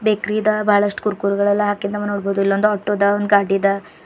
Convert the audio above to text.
ಬೇಕ್ರಿದ ಬಳಷ್ಟ್ ಕುರ್ ಕುರಿಗಳೆಲ್ಲ ಹಾಕಿದ್ ನಾವ್ ನೋಡ್ಬವುದು ಇಲ್ಲೋಂದು ಆಟೋ ಅದ ಗಾಡಿ ಆದ.